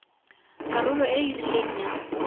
karolo e e rileng ya